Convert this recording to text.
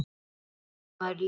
Hvernig bætir maður liðið?